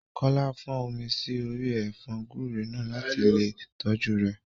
Kọ́lá fọ́n omi sí orí ẹ̀fọ́ gúúre náà láti lè tọ́jú rẹ̀